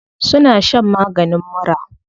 Suna shan maganin mura.